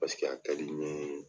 a ka di n ɲe